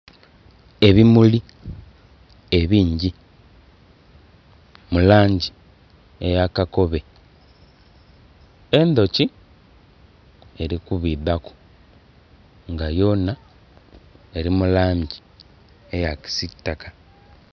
Ebimuli ebingi mu langi eya kakobe endhoki eri kubidhaku nga yonha eri mu langi eya kisiitaka.